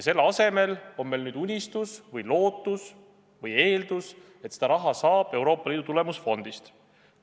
Selle asemel on meil nüüd unistus, lootus või eeldus, et seda raha saab Euroopa Liidu tulemusfondist.